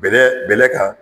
Bɛlɛ bɛlɛ kan